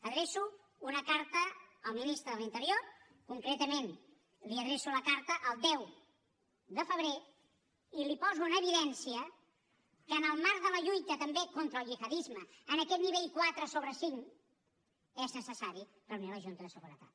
adreço una carta al ministre de l’interior concretament li adreço la carta el deu de febrer i li poso en evidència que en el marc de la lluita també contra el gihadisme en aquest nivell quatre sobre cinc és necessari reunir la junta de seguretat